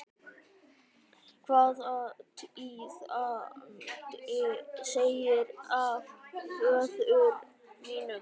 Hvaða tíðindi segirðu af föður mínum?